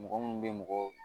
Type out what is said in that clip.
Mɔgɔ minnu bɛ mɔgɔ